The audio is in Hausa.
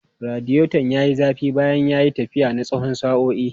Radiator ya yi zafi bayan ya yi tafiya na tsawon sa'o'i.